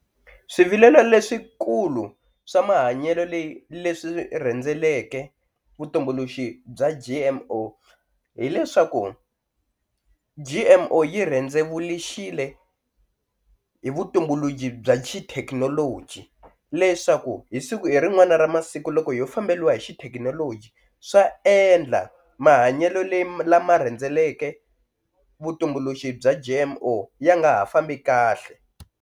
Swivilelo leswikulu swa mahanyelo leyi leswi rhendzeleke vutumbuluxi bya G_M_O hileswaku G_M_O yi rhendzevulixile hi vutumbuluxi bya xithekinoloji leswaku hi siku hi rin'wana ra masiku loko ho famberiwa hi xithekinoloji swa endla mahanyelo leyi lama rhendzeleke vutumbuluxi bya G_M_O ya nga ha fambi kahle.